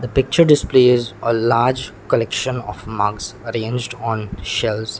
picture displays a large collection of mugs arranged on shelves.